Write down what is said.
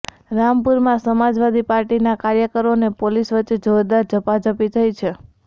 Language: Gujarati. રામપુરમાં સમાજવાદી પાર્ટીના કાર્યકરો અને પોલીસ વચ્ચે જોરદાર ઝપાઝપી થઇ છે